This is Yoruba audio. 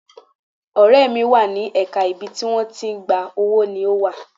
Ọ̀rẹ́ mi wà ní ẹ̀ka ibi tí wọ́n ti ń gba owó ni ó wà.